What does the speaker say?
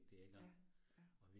Ja, ja